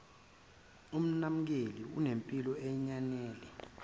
umnakekeli unempilo eyanele